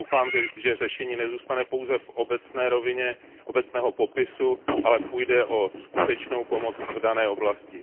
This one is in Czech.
Doufám, že řešení nezůstane pouze v rovině obecného popisu, ale půjde o skutečnou pomoc v dané oblasti.